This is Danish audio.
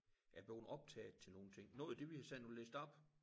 Er blevet optaget til nogen ting noget af det vi har siddet og læst op